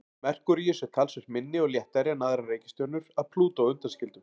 Merkúríus er talsvert minni og léttari en aðrar reikistjörnur að Plútó undanskildum.